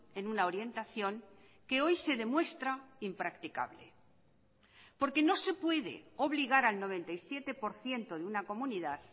en una orientación que hoy se demuestra impracticable porque no se puede obligar al noventa y siete por ciento de una comunidad